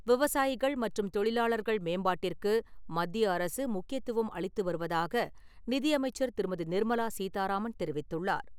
விவசாயிகள் மற்றும் தொழிலாளர்கள் மேம்பாட்டிற்கு மத்திய அரசு முக்கியத்துவம் அளித்து வருவதாக நிதியமைச்சர் திருமதி. நிர்மலா சீதாராமன் தெரிவித்துள்ளார்.